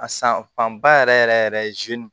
A san fanba yɛrɛ yɛrɛ yɛrɛ